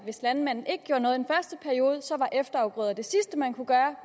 hvis landmanden ikke gjorde noget af efterafgrøder det sidste man kunne gøre og